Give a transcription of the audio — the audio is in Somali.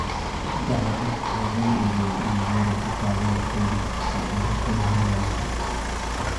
Saddexda qof ayaa lagu eedeeyay inay weerar ku qaadeen booliska oo ay rabshado hurinayeen.